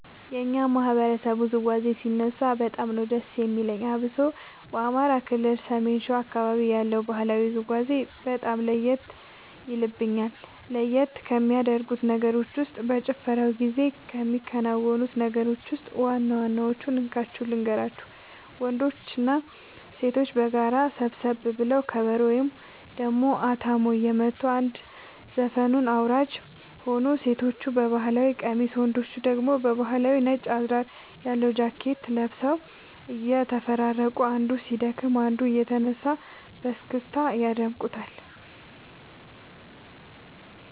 የኛ ማህበረሰብ ውዝዋዜ ሲነሳ በጣም ነዉ ደስ የሚለኝ አብሶ በአማራ ክልል ሰሜን ሸዋ አካባቢ ያለው ባህላዊ ውዝውዜ በጣም ለየት የልብኛል። ለየት ከሚያደርጉት ነገሮች ውስጥ በጭፈራው ጊዜ ከሚከናወኑት ነገሮች ውስጥ ዋና ዋናወቹን እንካችሁ ልንገራችሁ ወንዶችና ሴቶች በጋራ ሰብሰብ ብለው ከበሮ ወይም ደሞ አታሞ እየመቱ አንድ ዘፈኑን አወራራጅ ሆኖ ሴቶቹ በባህል ቀሚስ ወንዶቹ ደግሞ ባህላዊ ነጭ አዝራር ያለው ጃኬት ለብሰው እየተፈራረቁ አንዱ ሲደክም አንዱ እየተነሳ በስክስታ ያደምቁታል